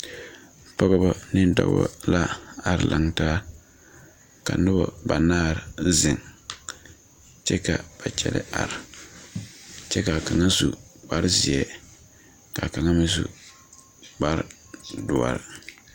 Pɔgeba ne dɔba la a are laŋ taaka noba ba naare ziŋ kyɛ ka ba kyɛlɛɛ are kyɛ kaa kaŋa su kpare zeɛ kaa kaŋa me sukpare doɔre.